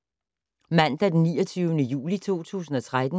Mandag d. 29. juli 2013